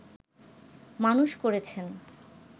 মানুষ করেছেন